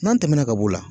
N'an tɛmɛna ka b'o la